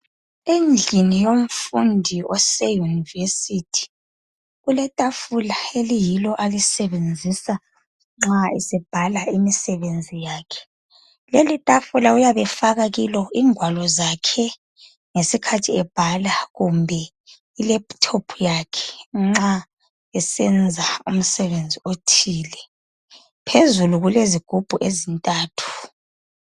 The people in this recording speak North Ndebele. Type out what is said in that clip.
Endlini yomfundi ose University kuletafula eliyilo alisebenzisa nxa esebhala imisebenzi yakhe. Leli tafula uyabe efaka kilo ingwalo zakhe ngesikhathi ebhala kumbe ilaptop yakhe nxa esenza umsebenzi othile. Phezulu kulezigubhu ezintathu.